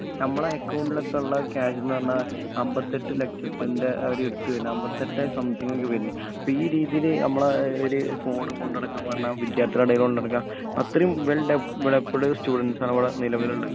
ഇപ്പൊ നമ്മളെ അകൗണ്ടിൽ ഒക്കെ ഉള്ള ക്യാഷ് എന്ന് പറഞ്ഞാൽ അമ്പത്തെട്ട്‍ ലക്ഷത്തിൻ്റെ ഒരു അടുത്ത അമ്പത്തെട്ടെ സംതിങ് ഒക്കെ വരുന്ന് അപ്പൊ ഈ രീതിയിൽ ഞമ്മളെ ഒരു ഫോൺ കൊണ്ടുനടക്കാന് പറഞ്ഞാൽ വിദ്യാർത്ഥികളെ ഇടയിൽ കൊണ്ടുനടക്കാ അത്രേം വെൽ ഡെവലപ്പഡ് സ്റ്റുഡന്റസ് ആണ് ഇവിട നിലവിൽ ഉള്ളെ